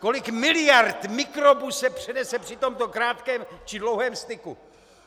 Kolik miliard mikrobů se přenese při tomto krátkém či dlouhém styku!